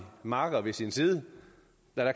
makker ved sin side